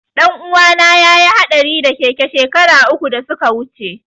Ɗanuwana ya yi haɗari da keke shekara uku da suka wuce.